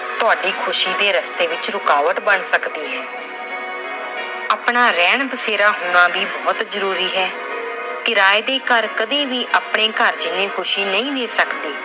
ਤੁਹਾਡੇ ਖੁਸ਼ੀ ਦੇ ਰਸਤੇ ਵਿੱਚ ਰੁਕਾਵਟ ਬਣ ਸਕਦੀ ਹੈ। ਆਪਣਾ ਰਹਿਣ ਬਸੇਰਾ ਹੋਣਾ ਵੀ ਬਹੁਤ ਜ਼ਰੂਰੀ ਹੈ। ਕਿਰਾਏ ਦੇ ਘਰ ਕਦੇ ਵੀ ਆਪਣੇ ਘਰ ਜਿਹੀ ਖੁਸ਼ੀ ਨਹੀਂ ਦੇ ਸਕਦੇ।